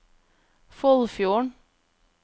Foldfjorden